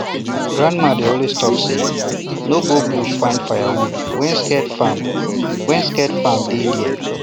grandma dey always talk say no go bush find firewood when scared farm when scared farm day there